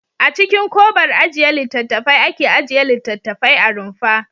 A cikin kobar ajiye littattafai ake ajiye littattafai a rumfa.